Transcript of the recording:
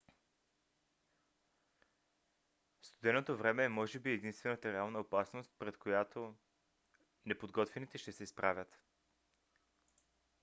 студеното време е може би единствената реална опасност пред която неподготвените ще се изправят